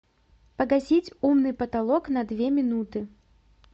погасить умный потолок на две минуты